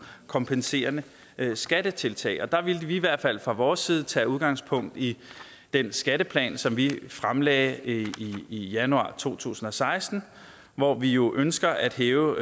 kompenserende skattetiltag der ville vi i hvert fald fra vores side tage udgangspunkt i den skatteplan som vi fremlagde i januar to tusind og seksten hvor vi jo ønsker at hæve